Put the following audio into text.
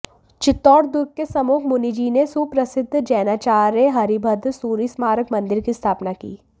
चित्तौड़ दुर्ग के सम्मुख मुनिजी ने सुप्रसिद्ध जैनाचार्य हरिभद्र सूरि स्मारक मंदिर की स्थापना की